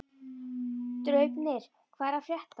Draupnir, hvað er að frétta?